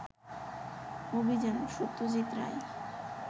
অভিযান, সত্যজিত রায়